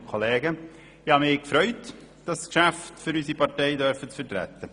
Ich habe mich gefreut, das Geschäft für unsere Partei zu vertreten.